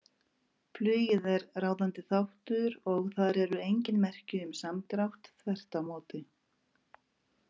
Flugið er ráðandi þáttur og þar eru engin merki um samdrátt, þvert á móti.